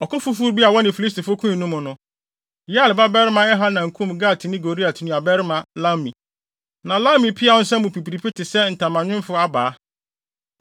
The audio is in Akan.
Ɔko foforo bi a wɔne Filistifo koe no mu no, Yair babarima Elhanan kum Gatni Goliat nuabarima Lahmi. Na Lahmi peaw nsa mu pipiripi te sɛ ntamanwemfo abaa.